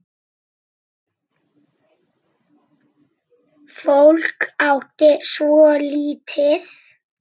Fólk átti svo lítið.